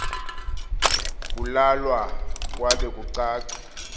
kulalwa kwabe kucace